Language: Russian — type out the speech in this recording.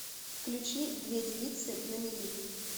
включи две девицы на мели